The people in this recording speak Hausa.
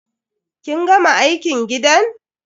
Kin gama aikin gidan?